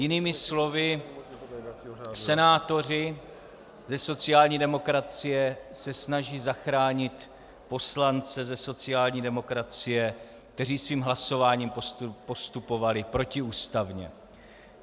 Jinými slovy, senátoři ze sociální demokracie se snaží zachránit poslance ze sociální demokracie, kteří svým hlasováním postupovali protiústavně.